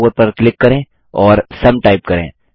cell आ4 पर click करें और सुम टाइप करें